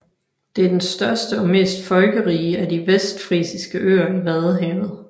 Det er den største og mest folkerige af de vestfrisiske øer i Vadehavet